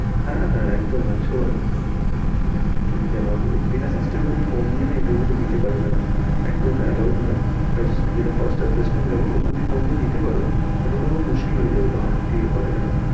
হ্যাঁ হ্যাঁ! একদম একশবার, interview তে দিতে পারবেনা, allowed নয়, নিতে পারো কিন্তু ওটা মুশকিল হয় যাবে কি আর করা যাবে।